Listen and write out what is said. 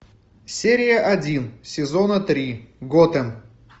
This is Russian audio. серия один сезона три готэм